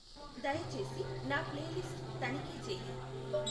దయచేసి నా ప్లేలిస్ట్ తనిఖీ చేయి